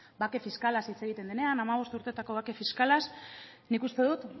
bake fiskalaz hitz egiten denean hamabost urtetako bake fiskalaz nik uste dut